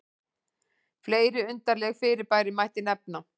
fleiri undarleg fyrirbæri mætti nefna